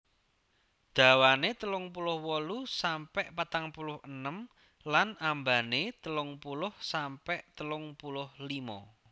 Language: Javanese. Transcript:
Dhawane telung puluh wolu sampe patang puluh enem lan ambane telung puluh sampe telung puluh limo